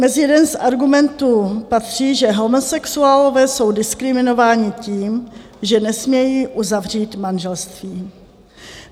Mezi jeden z argumentů patří, že homosexuálové jsou diskriminováni tím, že nesmějí uzavřít manželství.